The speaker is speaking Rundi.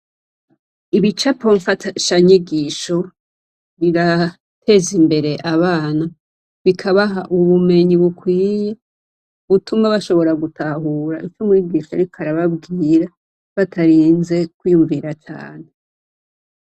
Ibicapo mfashanyigisho birateza imbere abana bikabaha ubumenyi bukwiye butuma bashobora gutahura ivyo umwigisha ariko arababwira batarinze kwiyumvira cane.